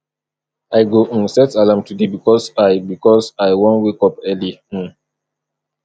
i go um set alarm today because i because i wan wake up early um